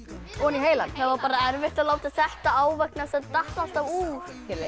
heilann það var erfitt að láta þetta á það datt alltaf úr